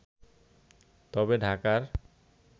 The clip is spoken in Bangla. তবে ঢাকার